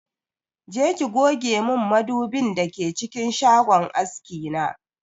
Je ki goge min madubin da ke cikin shagon aski na!